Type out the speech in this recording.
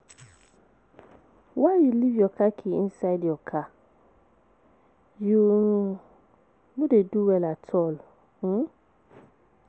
Why you leave your car key inside your car? You um no do well at all. um